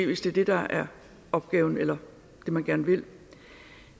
hvis det er det der er opgaven eller det man gerne vil